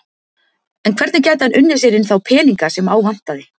En hvernig gæti hann unnið sér inn þá peninga sem á vantaði?